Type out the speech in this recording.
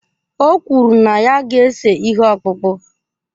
O kwuru na ya ga-ese ihe ọkpụkpụ.